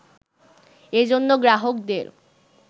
এজন্য গ্রাহকদের